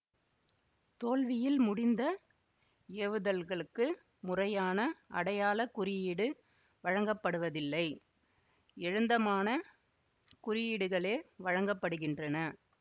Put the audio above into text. தோல்வியில் முடிந்த ஏவுதல்களுக்கு முறையான அடையாள குறியீடு வழங்கப்படுவதில்லை எழுந்தமானக் குறியீடுகளே வழங்க படுகின்றன